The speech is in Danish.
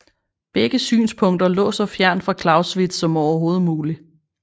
Begge synspunkter lå så fjernt fra Clausewitz som overhovedet muligt